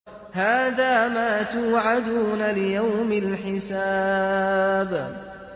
هَٰذَا مَا تُوعَدُونَ لِيَوْمِ الْحِسَابِ